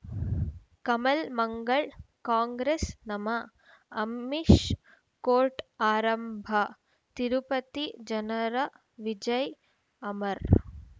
ಕಮಲ್ ಮಂಗಳ್ ಕಾಂಗ್ರೆಸ್ ನಮಃ ಅಮಿಷ್ ಕೋರ್ಟ್ ಆರಂಭ ತಿರುಪತಿ ಜನರ ವಿಜಯ್ ಅಮರ್